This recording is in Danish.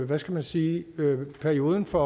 hvad skal man sige perioden for